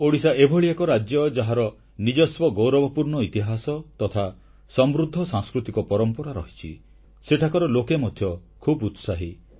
ଓଡ଼ିଶା ଏଭଳି ଏକ ରାଜ୍ୟ ଯାହାର ନିଜସ୍ୱ ଗୌରବପୂର୍ଣ୍ଣ ଇତିହାସ ତଥା ସମୃଦ୍ଧ ସାଂସ୍କୃତିକ ପରମ୍ପରା ରହିଛି ସେଠାକାର ଲୋକେ ମଧ୍ୟ ଖୁବ୍ ଉତ୍ସାହୀ